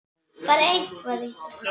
Að ég, sonur eins af mönnum